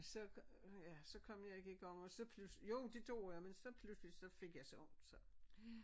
Så øh ja så kom jeg ikke i gang så pludselig jo det gjorde jeg men så pludselig så fik jeg så ondt så